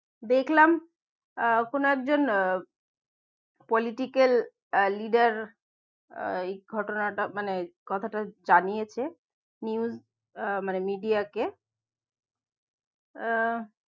দেখলাম আহ আপনার জন~ আহ political এর leader আহ এই ঘটনাটা মানে কথাটা জানিয়েছে news আহ মানে media কে আহ